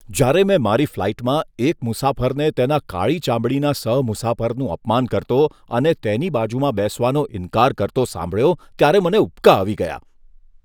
જ્યારે મેં મારી ફ્લાઇટમાં એક મુસાફરને તેના કાળી ચામડીના સહ મુસાફરનું અપમાન કરતો અને તેની બાજુમાં બેસવાનો ઇન્કાર કરતો સાંભળ્યો ત્યારે મને ઉબકા આવી ગયા.